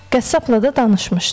Qəssabla da danışmışdı.